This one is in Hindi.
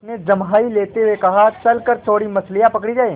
उसने जम्हाई लेते हुए कहा चल कर थोड़ी मछलियाँ पकड़ी जाएँ